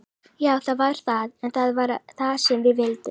Já það var það, en það var það sem við vildum.